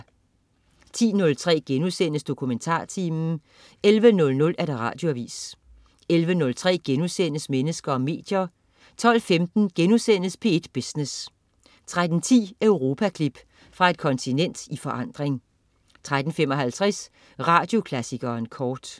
10.03 DokumentarTimen* 11.00 Radioavis 11.03 Mennesker og medier* 12.15 P1 Business* 13.10 Europaklip. Fra et kontinent i forandring 13.55 Radioklassikeren kort